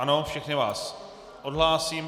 Ano, všechny vás odhlásím.